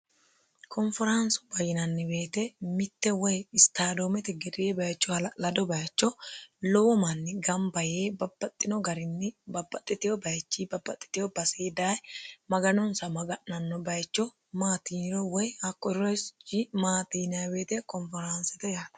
konferaansu bayyinanni beete mitte woy istadoometi gedee bayicho hala'lado bayicho lowo manni gamba yee babbaxxino garinni babbaxitewo bayichi babbaxitewo basey daye maganonsa maga'nanno bayicho maatiiro woy hakko richi maati yiniro konferaansite yaate